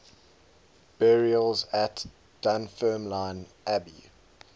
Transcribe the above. burials at dunfermline abbey